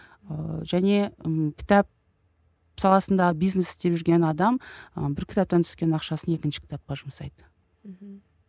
ыыы және ммм кітап саласында бизнес істеп жүрген адам ы бір кітаптан түскен ақшасын екінші кітапқа жұмсайды мхм